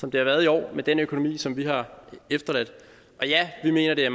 som det har været i år med den økonomi som vi har efterladt og ja vi mener det er